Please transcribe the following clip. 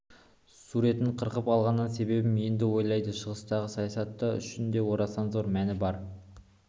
суретін қырқып алғанының себебін енді ойлады шығыстағы саясаты үшін де орасан зор мәні бар